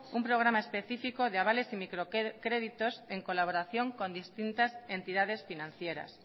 un programa especifico de avales y microcréditos en colaboración con distintas entidades financieras